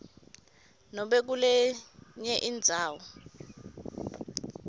nobe kulenye indzawo